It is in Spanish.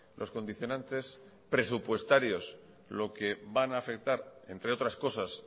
los condicionantes presupuestarios lo que van a afectar entre otras cosas